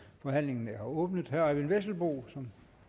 forhandlingen er åbnet herre eyvind vesselbo som